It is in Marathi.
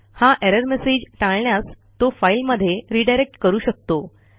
हा एरर मेसेज टाळण्यास तो फाईलमध्ये रिडायरेक्ट करू शकतो